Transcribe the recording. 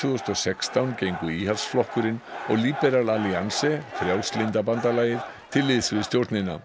þúsund og sextán gengu Íhaldsflokkurinn og Liberal Alliance Frjálslynda bandalagið til liðs við stjórnina